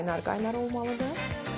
Elə qaynar-qaynar olmalıdır.